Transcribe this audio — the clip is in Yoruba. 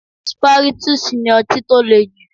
Spirytus ni ọtí tó le jù.